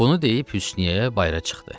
Bunu deyib Hüsnüyyə bayıra çıxdı.